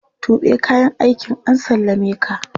Tuɓe kayan aikin an sallameka!